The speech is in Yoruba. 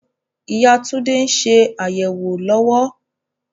Ìyá Tunde ń ṣe àyẹ̀wò lọ́wọ́